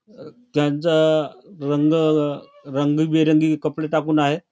त्यांचा रंग रंगीबेरंगी कपडे टाकून आहे.